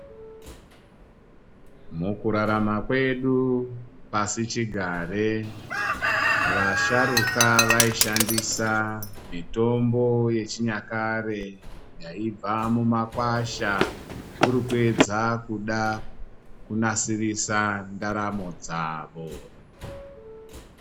Mukurarama kwedu pasichigare vasharuka vaishandisa mitombo yechinyakare yaibva mumakwasha kuri kuedza kuda kunasirisa ndaramo dzavo.